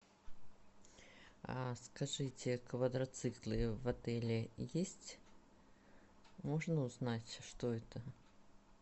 скажите квадроциклы в отеле есть можно узнать что это